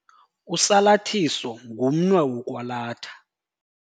Usalathiso ngumnwe wokwalatha.